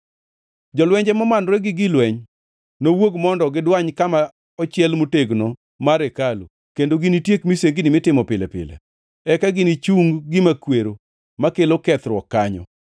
“Jolwenje momanore gi gig lweny nowuog mondo gidwany kama ochiel motegno mar hekalu kendo ginitiek misengini mitimo pile pile. Eka ginichung gima kwero makelo kethruok kanyo.